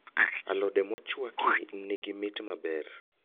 Alode mochwaki nigi mit maber